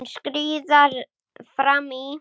Hún skríður fram í.